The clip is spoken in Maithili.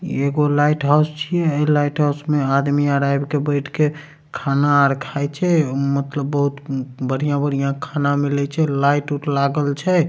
एगो लाइट हाउस छिये ए लाइट हाउस में आदमी अर आयब बैठ के खाना अर खाए छे मतलब बहुत मम बढ़िया-बढ़िया खाना मिले छे लाइट - उट लागल छे।